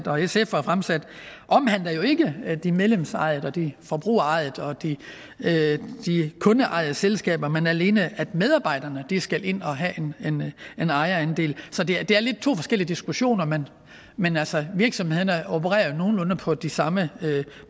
og sf har fremsat omhandler jo ikke de medlemsejede eller de forbrugerejede eller de kundeejede selskaber men alene at medarbejderne skal ind og have en ejerandel så det er lidt to forskellige diskussioner men men altså virksomhederne opererer nogenlunde på de samme